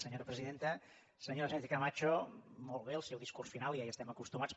senyora sánchez cama cho molt bé el seu discurs final ja hi estem acostumats